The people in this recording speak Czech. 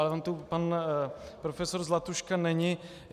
Ale on tu pan profesor Zlatuška není.